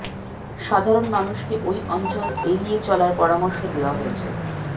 সাধারণ মানুষকে ওই অঞ্চল এড়িয়ে চলার পরামর্শ দেওয়া হয়েছে